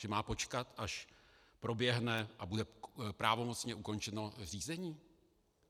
Že má počkat, až proběhne a bude pravomocně ukončeno řízení?